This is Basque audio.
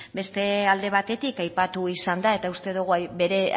beste alde batetik aipatu izan da eta uste dogu bere